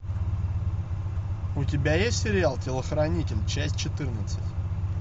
у тебя есть сериал телохранитель часть четырнадцать